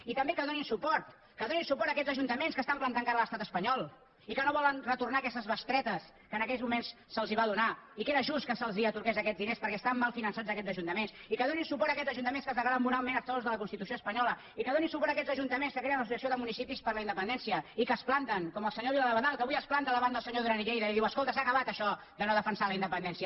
i també que donin suport que donin suport a aquests ajuntaments que estan plantant cara a l’estat espanyol i que no volen retornar aquestes bestretes que en aquells moments se’ls va donar i que era just que se’ls atorgués aquells diners perquè estaven mal finançats aquests ajuntaments i que donin suport a aquests ajuntaments que es declaren moralment exclosos de la constitució espanyola i que donin suport a aquests ajuntaments que creen l’associació de municipis per la independència i que es planten com el senyor vila d’abadal que avui es planta davant del senyor duran i lleida i diu escolta s’ha acabat això de no defensar la independència